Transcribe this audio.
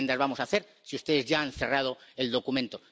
¿Qué enmiendas vamos a hacer si ustedes ya han cerrado el documento?